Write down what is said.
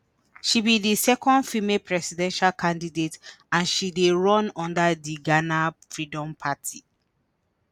she be di second female presidential candidate and she dey run under di ghana freedom party.